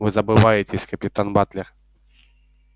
вы забываетесь капитан батлер